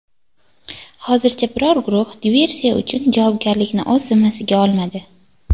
Hozircha biror guruh diversiya uchun javobgarlikni zimmasiga olmadi.